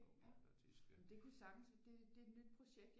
Det ja men det kunne sagtens det det er et nyt projekt